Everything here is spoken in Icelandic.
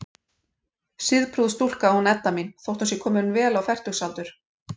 Siðprúð stúlka, hún Edda mín, þótt hún sé komin vel á fertugsaldur.